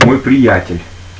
мой приятель